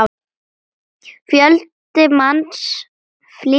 Fjöldi manns flýði land.